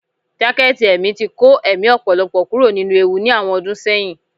Jaketí emí tí kọ emí ọpọlọpọ kuro ninú ewú ní awọn ọdun seyín